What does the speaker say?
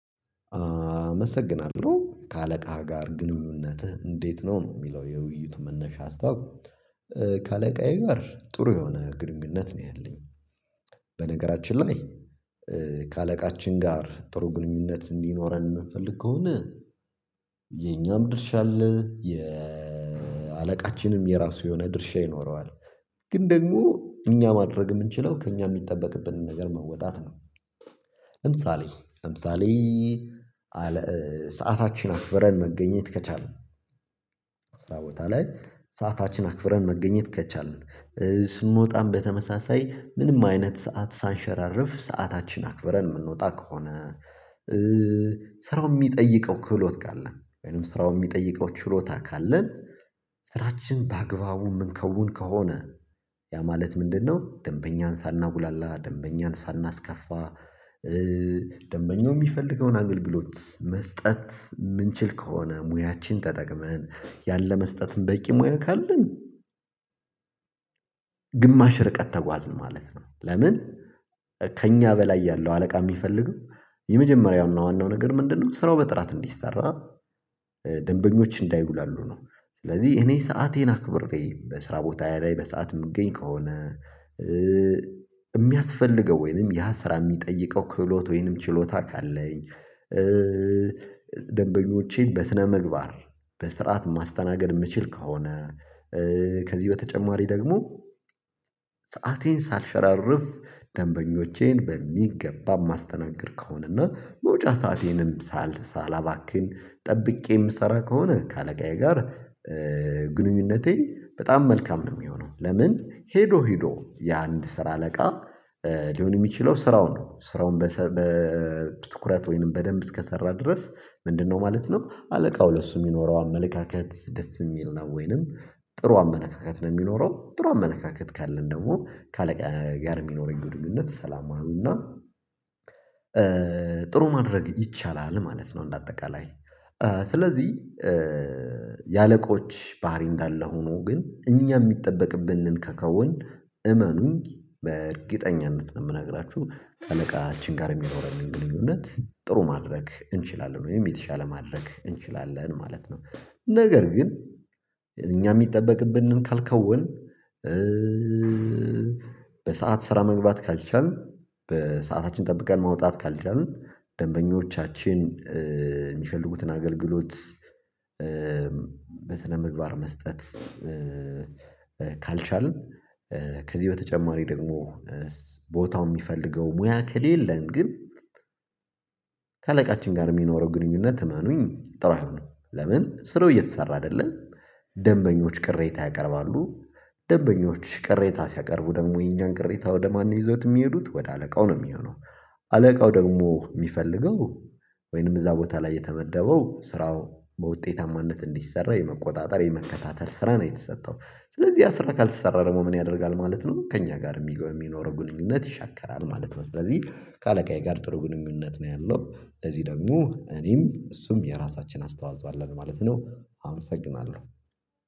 አመሰግናለሁ ከአለቃህ ጋር ግንኙነትህ እንዴት ነው? ነው የሚለው የውይይቱ መነሻ ሀሳብ። ከአለቃዬ ጋር ጥሩ የሆነ ግንኙነት ነው ያለኝ። በነገራችን ላይ። ከአለቃችን ጋር ጥሩ ግንኙነት እንዲኖረን የምንፈልግ ከሆነ። የኛም ድርሻ አለ የአለቃችንም የራሱ የሆነ ድርሻ ይኖረዋል። ግን ደግሞ እኛ ማድረግ የምንችለው ከእኛ የሚጠበቅብንን ነገር መወጣት ነው። ለምሳሌ ለምሳሌ አለ ሰዓታችን አክብረን መገኘት ከቻልን። ስራ ቦታ ላይ ሰዓታችን አክብረን መገኘት ከቻልን። ስንወጣም በተመሳሳይ ምንም አይነት ሰዓት ሳንሸራርፍ ሰዓታችን አክብረን የምንወጣ ከሆነ። ስራው የሚጠይቀው ክህሎት ካለ ወይም ስራው የሚጠይቀው ችሎታ ካለን። ስራችን በአግባቡ የምንከውን ከሆነ ያ ማለት ምንድነው? ደንበኛን ሳናጉላላ ደንበኛን ሳናስከፋ። ደንበኛው የሚፈልገውን አገልግሎት መስጠት የምንችል ከሆነ ሙያችን ተጠቅመን ያለ መስጠትም በቂ ሙያ ካለን። ግማሽ ርቀት ተጓዝን ማለት ነው። ለምን? ከእኛ በላይ ያለው አለቃ የሚፈልገው የመጀመሪያውን ዋናው ነገር ምንድነው? ስራው በጥራት እንዲሰራ ደንበኞች እንዳይጉላሉ ነው። ስለዚህ እኔ ሰአቴን አክብሬ በስራ ቦታዬ ላይ በሰአት የምገኝ ከሆነ። የሚያስፈልገው ወይንም ያ ስራ የሚጠይቀው ክህሎት ወይንም ችሎታ ካለኝ። ደንበኞቼን በስነምግባር በስርዓት ማስተናገድ የምችል ከሆነ። ከዚህ በተጨማሪ ደግሞ። ሰአቴን ሳልሸራርፍ ደንበኞቼን በሚገባ ማስተናገድ ከሆነና መውጫ ሰአቴንም ሳል ሳላባክን ጠብቄ የምሰራ ከሆነ ከአለቃዬ ጋር ግንኙነቴ በጣም መልካም ነው። የሚሆነው ለምን? ሄዶ ሄዶ የአንድ ስራ አለቃ ሊሆን የሚችለው ስራውን ስራውን በትኩረት ወይንም በደንብ እስከሰራ ድረስ ምንድነው ማለት ነው? አለቃው ለሱ የሚኖረው አመለካከት ደስ የሚል ነው። ወይንም ጥሩ አመነካካት ነው የሚኖረው። ጥሩ አመለካካት ካለን ደግሞ ከአለቃ ጋር የሚኖረኝ ግንኙነት ሰላማዊና ጥሩ ማድረግ ይቻላል ማለት ነው። እንደ አጠቃላይ። ስለዚህ። የአለቆች ባህሪ እንዳለ ሆኖ ግን እኛ የሚጠበቅብንን ከከወን። እመኑኝ በእርግጠኝነት የምነግራችሁ ካለቃችን ጋር የሚኖረንን ግንኙነት ጥሩ ማድረግ እንችላለን ወይም የተሻለ ማድረግ እንችላለን ማለት ነው። ነገር ግን እኛ የሚጠበቅብንን ካልከወንን። በሰአት ስራ መግባት ካልቻልን በሰአታችን ጠብቀን ማውጣት ካልቻልን ደንበኞቻችን የሚፈልጉትን አገልግሎት ምግባር መስጠት ካልቻልን። ከዚህ በተጨማሪ ደግሞ ቦታውን የሚፈልገው ሙያ ከሌለን ግን። ከአለቃችን ጋር የሚኖረው ግንኙነት እመኑኝ ጥሩ አይሆንም። ለምን ስራው እየተሰራ አይደለም። ደንበኞች ቅሬታ ያቀርባሉ። ደንበኞች ቅሬታ ሲያቀርቡ ደግሞ የኛን ቅሬታ ወደ ማን ይዘውት የሚሄዱት ወደ አለቃው ነው የሚሆነው። አለቃው ደግሞ የሚፈልገው ወይንም እዛ ቦታ ላይ የተመደበው ስራው በውጤታማነት እንዲሰራ የመቆጣጠር የመከታተል ስራ ነው የተሰጠው። ስለዚህ ስራ ካልተሰራ ደግሞ ምን ያደርጋል ማለት ነው። ከእኛ ጋር የሚገባ የሚኖረው ግንኙነት ይሸከራል ማለት ነው። ስለዚህ ከአለቃዬ ጋር ጥሩ ግንኙነት ነው ያለው። እዚህ ደግሞ እኔም እሱም የራሳችን አስተዋጽኦ አለን ማለት ነው። አመሰግናለሁ።